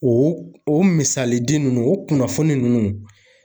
O o misali ninnu o kunnafoni ninnu